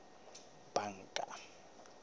banka